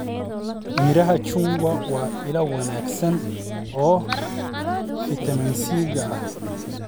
Midhaha chungwa waa il wanaagsan oo fiitamiinka C ah.